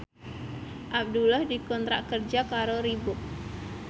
Abdullah dikontrak kerja karo Reebook